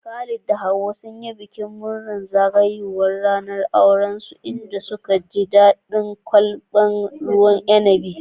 Khalid da Hauwa sun yi bikin murnar zagayowar ranar aurensu, inda suka ji daɗin kwalbar ruwan inabi.